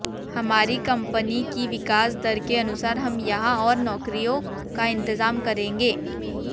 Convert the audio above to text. हमारी कंपनी की विकास दर के अनुसार हम यहां और नौकरियों का इंतजाम करेंगे